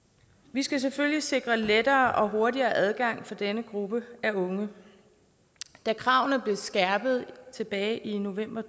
vi skal selvfølgelig sikre lettere og hurtigere adgang for denne gruppe af unge da kravene blev skærpet tilbage i november